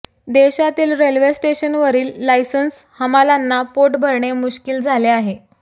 देशातील रेल्वे स्टेशनवरील लायसन्स हमालांना पोट भरणे मुश्किल झाले आहे